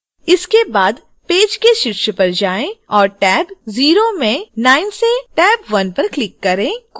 इसके बाद पेज के शीर्ष पर जाएँ और टैब 0 में 9 से टैब 1 पर click करें